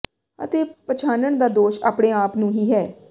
ਅਤੇ ਪਛਾਣਨ ਦਾ ਦੋਸ਼ ਆਪਣੇ ਆਪ ਨੂੰ ਹੀ ਹੈ